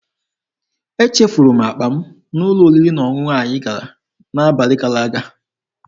Echefuru m akpa m n'ụlọ oriri na ọṅụṅụ anyị gara n'abalị gara aga.